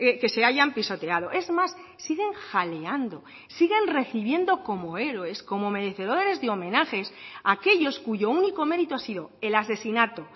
que se hayan pisoteado es más siguen jaleando siguen recibiendo como héroes como merecedores de homenajes aquellos cuyo único mérito ha sido el asesinato